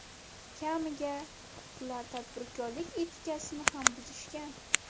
Kamiga, ular tadbirkorlik etikasini ham buzishgan.